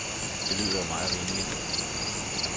Det lyder jo meget rimeligt.